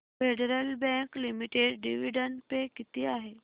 federal bank limited dividend pay किती आहे